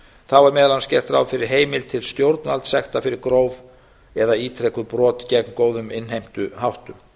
þá er meðal annars gert ráð fyrir heimild til stjórnvaldssekta fyrir gróf eða ítrekuð brot gegn góðum innheimtuháttum